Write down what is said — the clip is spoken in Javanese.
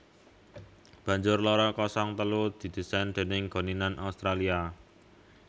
Banjur loro kosong telu didésain déning Goninan Australia